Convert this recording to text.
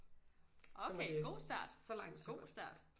Okay god start god start